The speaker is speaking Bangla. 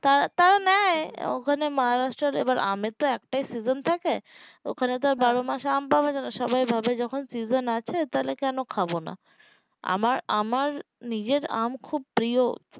তাতারা নেয় ওখানে মহারাষ্ট্র তে আমের তো একটাই season থাকে ওখানে তো আর বারোমাস আম পাওয়া যাবে না সবাই ভাবে যখন season আছে তাহলে কেন খাবো না আমার আমার নিজের আম খুব প্রিয়